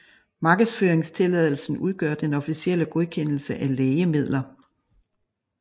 Markedsføringstilladelsen udgør den officielle godkendelse af lægemidler